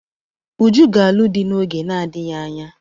Uju ga-alụ di n'oge na-adịghị anya.